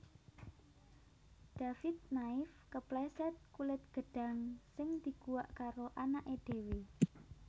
David Naif kepleset kulit gedhang sing diguwak karo anake dhewe